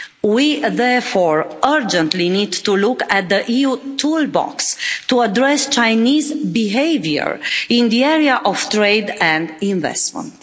We therefore urgently need to look at the EU toolbox to address Chinese behaviour in the area of trade and investment.